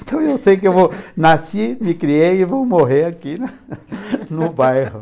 Então eu sei que eu vou, nasci, me criei e vou morrer aqui no bairro.